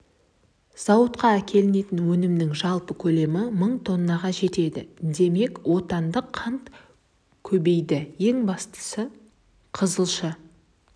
зауытына әкелінетін өнімнің жалпы көлемі мың тоннаға жетеді демек отандық қант көбейеді ең бастысы қызылша